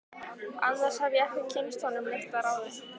Annars hef ég ekki kynnst honum neitt að ráði.